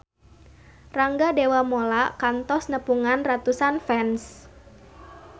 Rangga Dewamoela kantos nepungan ratusan fans